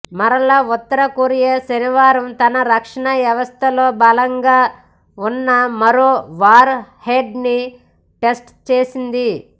మరల ఉత్తర కొరియా శనివారం తన రక్షణ వ్యవస్థలో బలంగా వున్న మరో వార్ హెడ్ ని టెస్ట్ చేసింది